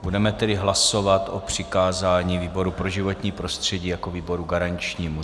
Budeme tedy hlasovat o přikázání výboru pro životní prostředí jako výboru garančnímu.